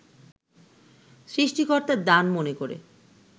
সৃষ্টিকর্তার দান মনে করে